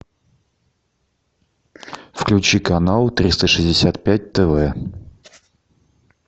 включи канал триста шестьдесят пять тв